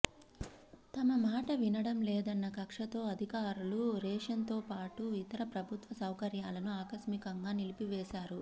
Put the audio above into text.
తమ మాట వినడంలేదన్న కక్షతో అధికారులు రేషన్తోపాటు ఇతర ప్రభుత్వ సౌకర్యాలను ఆకస్మికంగా నిలిపివేశారు